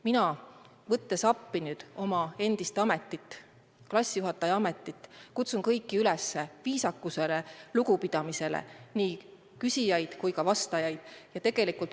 Mina, võttes appi nüüd oma endist ametit, klassijuhatajaametit, kutsun kõiki, nii küsijaid kui ka vastajaid, üles viisakusele, lugupidamisele.